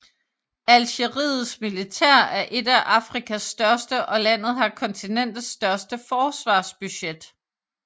Algeriets militær er et af Afrikas største og landet har kontinentets største forsvarsbudget